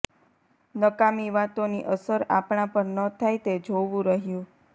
નકામી વાતોની અસર આપણા પર ન થાય તે જોવું રહ્યું